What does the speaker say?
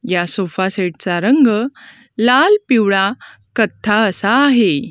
या sofa set चा रंग लाल पिवळा कथ्था असा आहे.